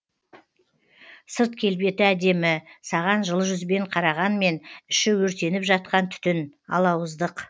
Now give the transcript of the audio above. сырт келбеті әдемі саған жылы жүзбен қарағанмен іші өртеніп жатқан түтін алауыздық